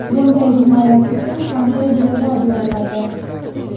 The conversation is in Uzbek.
Bunday jinoyat uchun qanday jazo beriladi?